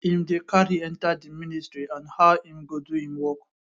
im dey carry enta di ministry and how im go do im work